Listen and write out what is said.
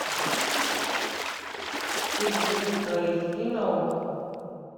фильм ультра эйч ди на окко